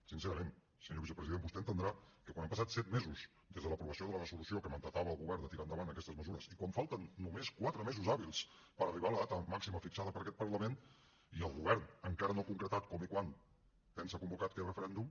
sincerament senyor vicepresident vostè deu entendre que quan han passat set mesos des de l’aprovació de la resolució que mandatava al govern de tirar endavant aquestes mesures i quan falten només quatre mesos hàbils per arribar a la data màxima fixada per aquest parlament i el govern encara no ha concretat com i quan pensa convocar aquest referèndum